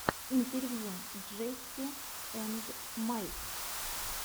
интервью джесси энд майк